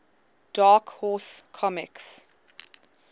dark horse comics